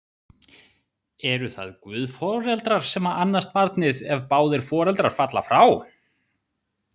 Eru það guðforeldrar sem annast barnið, ef báðir foreldrar falla frá?